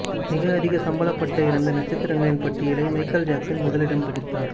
மிக அதிக சம்பளப்பட்ட இறந்த நட்சத்திரங்களின் பட்டியலை மைக்கேல் ஜாக்சன் முதலிடம் பிடித்தார்